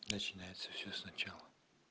начинается все сначала